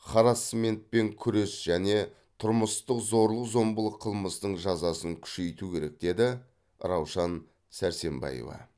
харассментпен күрес және тұрмыстық зорлық зомбылық қылмыстың жазасын күшейту керек деді раушан сәрсембаева